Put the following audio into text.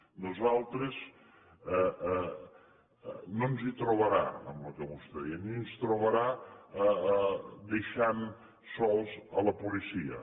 a nosaltres no ens hi trobarà en el que vostè deia ni ens trobarà deixant sols la policia